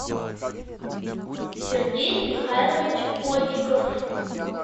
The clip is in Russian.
сергей михайлович огиков